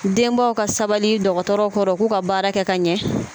Denbaw ka sabali dɔgɔtɔrɔw kɔrɔ u k'u ka baara kɛ ka ɲɛ